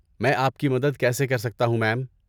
میں آپ کی مدد کیسے کر سکتا ہوں، میم؟